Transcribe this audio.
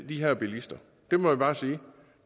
de her bilister det må jeg bare sige